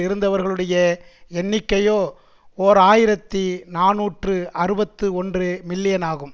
இருந்தவர்களுடைய எண்ணிக்கையோ ஓர் ஆயிரத்தி நாநூற்று அறுபத்தி ஒன்று மில்லியன் ஆகும்